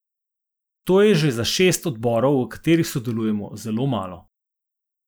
To je že za šest odborov, v katerih sodelujemo, zelo malo.